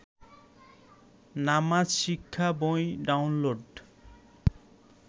নামাজ শিক্ষা বই ডাউনলোড